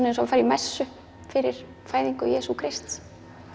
eins og að fara í messu fyrir fæðingu Jesú Krists